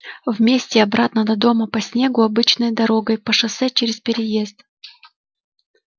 вместе обратно до дома по снегу обычной дорогой по шоссе через переезд